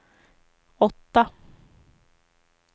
åtta